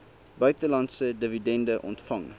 buitelandse dividende ontvang